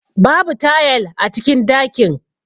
Babu tayal a cikin dakin.